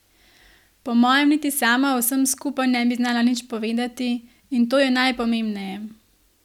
Po mojem niti sama o vsem skupaj ne bi znala nič povedati, in to je najpomembneje.